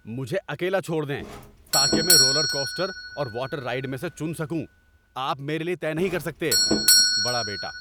مجھے اکیلا چھوڑ دیں تاکہ میں رولر کوسٹر اور واٹر رائیڈ میں سے چن سکوں، آپ میرے لیے طے نہیں کر سکتے۔ (بڑا بیٹا)